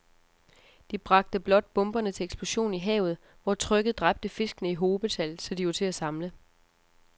De bragte blot bomberne til eksplosion i havet, hvor trykket dræbte fiskene i hobetal, så de var til at samle